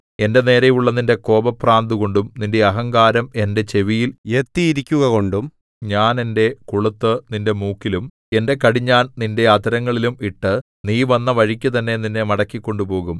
എന്റെ നേരെയുള്ള നിന്റെ കോപഭ്രാന്തുകൊണ്ടും നിന്റെ അഹങ്കാരം എന്റെ ചെവിയിൽ എത്തിയിരിക്കുകകൊണ്ടും ഞാൻ എന്റെ കൊളുത്തു നിന്റെ മൂക്കിലും എന്റെ കടിഞ്ഞാൺ നിന്റെ അധരങ്ങളിലും ഇട്ടു നീ വന്ന വഴിക്കുതന്നെ നിന്നെ മടക്കി കൊണ്ടുപോകും